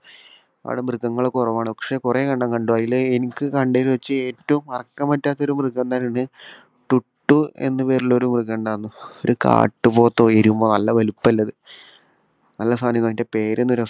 അവിടെ മൃഗങ്ങൾ കുറവാണ്. പക്ഷേ കുറേ എണ്ണം കണ്ടു. അതിൽ എനിക്ക് കണ്ടതിൽ വെച്ച് ഏറ്റവും മറക്കാൻ പറ്റാത്ത ഒരു മൃഗം എന്നുണ്ടെങ്കില് ടുട്ടു എന്നു പേരുള്ള ഒരു മൃഗം ഉണ്ടായിരുന്നു. ഒരു കാട്ടുപോത്തോ എരുമ നല്ല വലിപ്പം ഉള്ളത്. നല്ല സാധനമായിരുന്നു. അതിന്റെ പേര് എന്നത് രസമാണ്